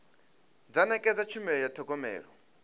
dza nekedza tshumelo ya thogomelo